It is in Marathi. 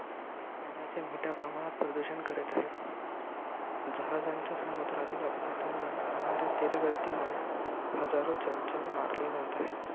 पाण्याचे मोठ्या प्रमाणात प्रदूषण करीत आहेत. जहाजांच्या समुद्रातील अपघातांमुळे, होणाऱ्या तेल गळतीमुळे हजारो जलचर मारले जात आहेत.